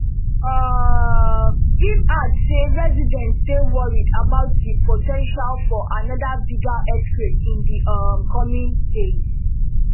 um im add say residents dey worried about di po ten tial for another bigger earthquake in di um coming days